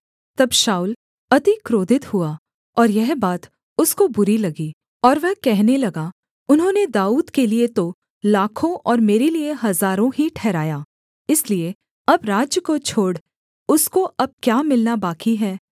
तब शाऊल अति क्रोधित हुआ और यह बात उसको बुरी लगी और वह कहने लगा उन्होंने दाऊद के लिये तो लाखों और मेरे लिये हजारों ही ठहराया इसलिए अब राज्य को छोड़ उसको अब क्या मिलना बाकी है